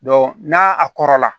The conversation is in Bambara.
n'a a kɔrɔla